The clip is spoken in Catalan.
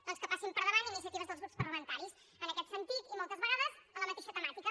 doncs que hi passin per davant iniciatives dels grups parlamentaris en aquest sentit i moltes vegades amb la mateixa temàtica